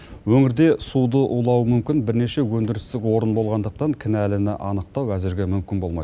өңірде суды улауы мүмкін бірнеше өндірістік орын болғандықтан кінәліні анықтау әзірге мүмкін болмай